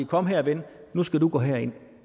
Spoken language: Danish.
kom her ven nu skal du gå herind